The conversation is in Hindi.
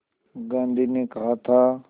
गांधी ने कहा था